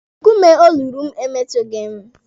Nkume o luru m emetụghị m.